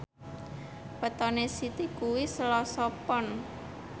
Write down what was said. wetone Siti kuwi Selasa Pon